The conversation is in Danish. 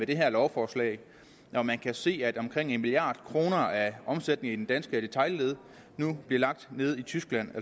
det her lovforslag når man kan se at omkring en milliard kroner af omsætningen danske detailled nu bliver lagt nede i tyskland